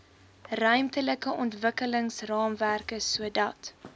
ruimtelike ontwikkelingsraamwerk sodat